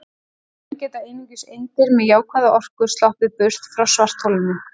Í raun geta einungis eindir með jákvæða orku sloppið burt frá svartholinu.